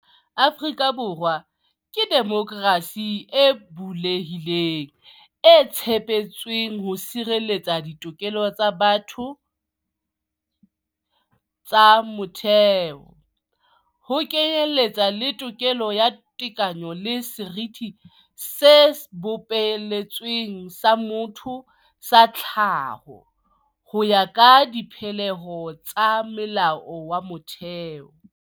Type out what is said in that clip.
Afrika Borwa ke demokrasi e bule hileng, e tshepetsweng ho sireletsa ditokelo tsa batho tsa motheo, ho kenyeletswa le tokelo ya tekano le seriti se bopeletsweng sa motho sa tlhaho, ho ya ka dipehelo tsa Molao wa Motheo.